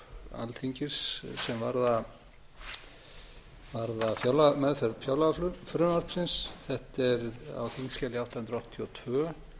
alþingis sem varðar meðferð fjárlagafrumvarpsins þetta er á þingskjali átta hundruð áttatíu og tvö